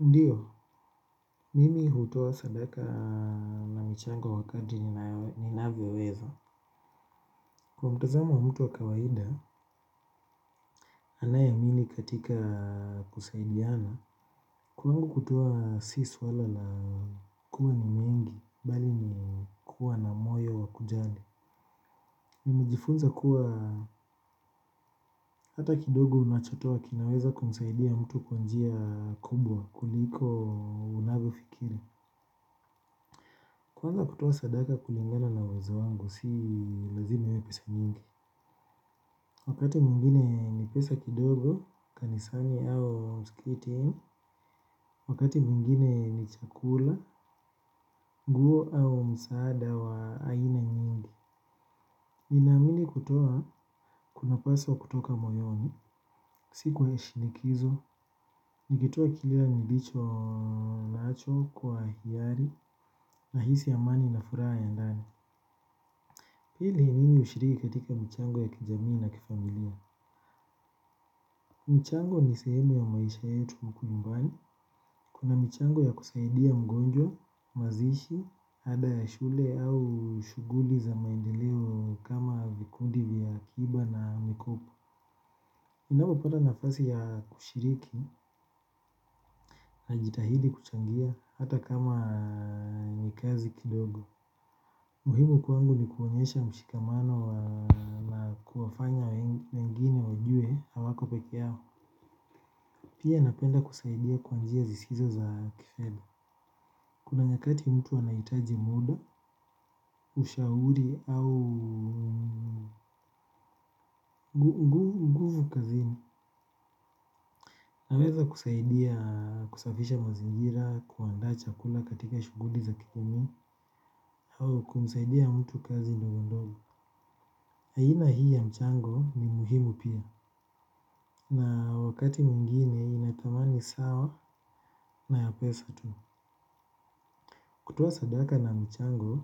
Ndio mimi hutoa sadaka na michango wakati ninavyoweza. Kwa mtazamo wa mtu wa kawaida, anayeamini katika kusaidiana. Kwangu kutoa si suala la kuwa ni mengi, bali ni kuwa na moyo wa kujali. Nimejifunza kuwa hata kidogo unachotoa kinaweza kumsaidia mtu kwa njia kubwa, kuliko unavyofikiri. Kwa hivo kutoa sadaka kulingana na uwezo wangu, si lazim iwe pesa mingi. Wakati mwingine ni pesa kidogo, kanisani au msikiti. Wakati mwingine ni chakula, nguo au msaada wa aina nyingi. Ninaamini kutoa kunapaswa kutoka moyoni. Sikuwai shinikizwa, nikitoa kile nilicho nacho kwa hiari nahisi amani na furaha ya ndani. Hili mimi hushiriki katika michango ya kijamii na kifamilia? Mchango ni sehemu ya maisha yetu huko nyumbani. Kuna michango ya kusaidia mgonjwa mazishi, ada ya shule au shughuli za maendeleo kama vikundi vya akiba na mikopo. Ninapopata nafasi ya kushiriki, ajitahidi kuchangia hata kama ni kazi kidogo. Muhimu kwangu ni kuonyesha mshikamano na kuwafanya wengine wajue hawako peke yao. Pia napenda kusaidia kwa njia zisizo za kifedha. Kuna nyakati mtu anahitaji muda, ushauri au nguvu kazini. Naweza kusaidia kusafisha mazingira, kuandaa chakula katika shughuli za kigeni. Au kumsaidia mtu kazi ndogo ndogo aina hii ya mchango ni muhimu pia. Na wakati mwingine ina thamani sawa na ya pesa tu. Kutoa sadaka na mchango,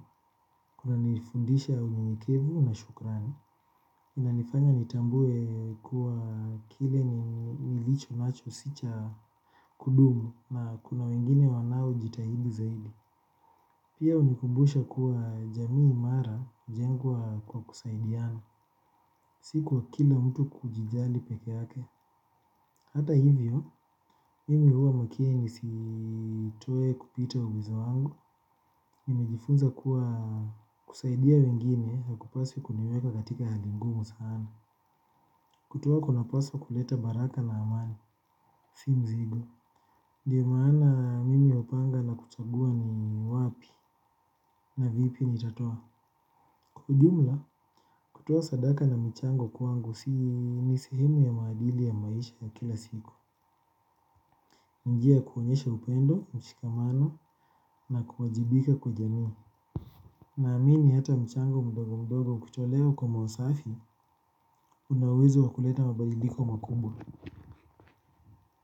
kunanifundisha unyenyekevu na shukrani. Inanifanya nitambue kuwa kile nilicho nacho si cha kudumu na kuna wengine wanaojitahidi zaidi. Pia hunikumbusha kuwa jamii imara hujengwa kwa kusaidiana. Si kwa kila mtu kujijali peke yake. Hata hivyo, mimi huwa makini nisitoe kupita uwezo wangu, nimejifunza kuwa kusaidia wengine na kupasi huniweka katika hali ngumu sana. Kutoa kunapaswa kuleta baraka na amani, si mzigo. Ndiyo maana mimi hupanga na kuchagua ni wapi na vipi nitatoa. Kwa ujumla kutoa sadaka na michango si nyingi ni sehemu ya maadili ya maisha ya kila siku. Njia ya kuonyesha upendo, mshikamano na kuwajibika kwa jamii. Naamini hata mchango mdogo mdogo kutolewa kwa mawasafi. Una uwezo wa kuleta mabaliliko makubwa.